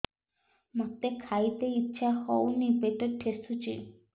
ମୋତେ ଖାଇତେ ଇଚ୍ଛା ହଉନି ପେଟ ଠେସୁଛି